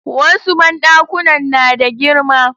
Wasu banɗakunan na da girma